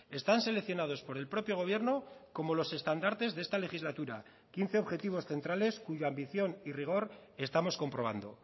están seleccionados por el propio gobierno como los estandartes de esta legislatura quince objetivos centrales cuya ambición y rigor estamos comprobando